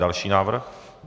Další návrh.